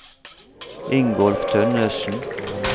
Ingolf Tønnessen